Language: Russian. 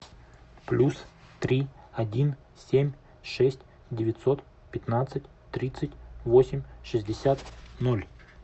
плюс три один семь шесть девятьсот пятнадцать тридцать восемь шестьдесят ноль